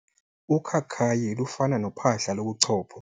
Ukhakayi lufana nophahla lobuchopho.